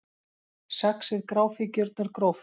Saxið gráfíkjurnar gróft